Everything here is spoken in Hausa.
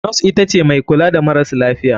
Nos itace mai kula da maras lafiya.